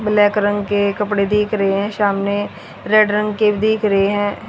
Black रंग के कपड़े दिख रहे हैं सामने रेड रंग के दिख रहे हैं।